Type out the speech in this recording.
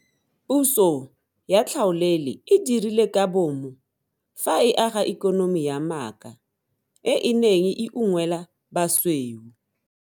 Puso ya tlhaolele e dirile ka bomo fa e aga ikonomi ya maaka e e neng e unngwela basweu.